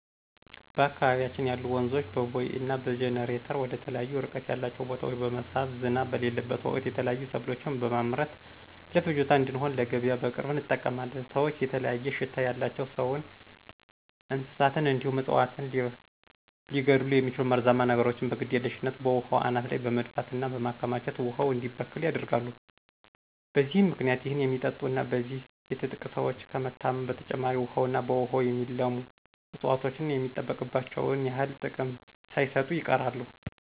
በአካባቢያችን ያሉ ወንዞችን በቦይ እና በጅኒተር ወደተለያዩ እርቀት ያላቸው ቦታወች በመሳብ ዝናብ በሌለበት ወቅት የተለያዩ ሰብሎችን በመምረት ለፍጆታ እንድሆን ለገቢያ በቅርብ እንጠቀማለን። ሰወች የተለያየ ሽታ ያላቸው ሰውን፣ እንስሳትን እንዲሁም እፅዋትን ሊገድሉ የሚችሉ መርዛማ ነገሮችን በግድየልሽነት በውሃው አናት ላይ በመድፋት እና በማከማቸት ውሃው እንዲበከል ያደርጋሉ። በዚህም ምክንያት ይህን የሚጠጡ እና በዚህ የትጥቅ ሰወች ከመታመም በተጨማሪ ውሀውና በውሃው የሚለሙ እፅዋቶች የሚጠበቅባቸውን ያክል ጥቅም ሳይሰጡ ይቀራሉ።